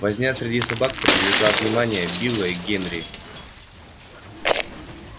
возня среди собак привлекла внимание билла и генри